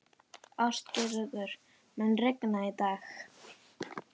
Ástgerður, mun rigna í dag?